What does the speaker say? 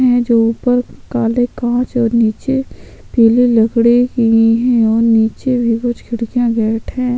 है जो ऊपर काले कांच और निचे पिले लकड़े की है और निचे भी कुछ खिडकिया बैठे है।